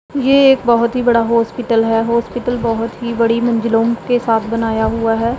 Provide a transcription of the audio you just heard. ये एक बहोत ही बड़ा हॉस्पिटल है हॉस्पिटल बहोत ही बड़ी मंजिलों के साथ बनाया हुआ है।